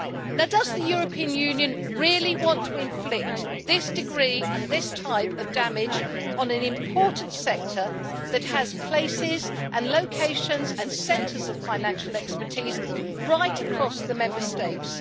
Now, does the European Union really want to inflict this degree and this type of damage on an important sector that has places and locations and centres of financial expertise right across the Member States?